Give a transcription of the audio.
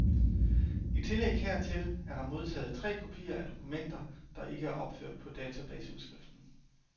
I tillæg hertil er der modtaget tre kopier af dokumenter, der ikke er opført på databaseudskriften.